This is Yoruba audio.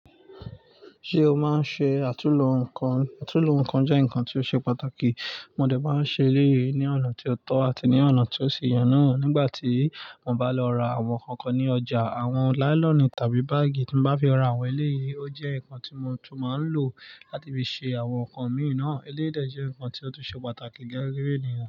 Ṣé o máa ń ṣe àtúnlo nǹkan? Àtúnlo nǹkan jẹ́ nǹkan tí ó ṣe pàtàkì. Mo dẹ̀ bá ń ṣe eléyìí ní ọ̀nà tí ó tọ́ àti ní ọ̀nà tí ó ṣi yẹ nà. Nígbà tí mo bá lọ ra àwọn ǹkankan ní ọjà, àwọn láílọ̀nì tàbí báágì tí mo bá fi ra àwọn eléyìí ó jẹ́ nǹkan tí mo tún máa ń lò láti fi ṣe àwọn nǹkan mi náà. Eléyìí dẹ jẹ́ nǹkan tí ó tún ṣe pàtàkì gẹ́gẹ́ bí ènìyàn.